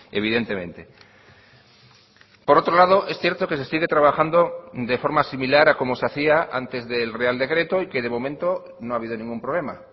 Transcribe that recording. evidentemente por otro lado es cierto que se sigue trabajando de forma similar a como se hacía antes del real decreto y que de momento no ha habido ningún problema